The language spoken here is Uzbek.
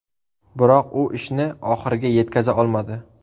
Biroq u ishni oxiriga yetkaza olmadi.